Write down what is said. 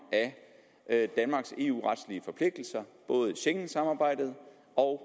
af danmarks eu retlige forpligtelser både schengensamarbejdet og